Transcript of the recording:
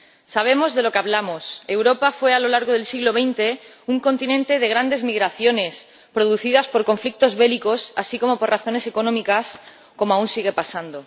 Sabemos de lo que hablamos Europa fue a lo largo del siglo XX un continente de grandes migraciones producidas por conflictos bélicos, así como por razones económicas ―como aún sigue pasando―.